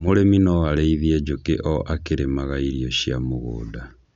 Mũrĩmi no arĩithie njũkĩ o akĩrĩmaga irio cia mũgũnda.